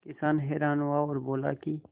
किसान हैरान हुआ और बोला कि